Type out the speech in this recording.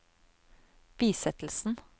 bisettelsen